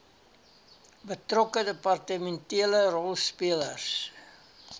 betrokke departementele rolspelers